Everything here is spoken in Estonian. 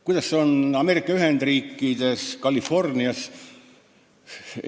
Kuidas on Ameerika Ühendriikides Californias?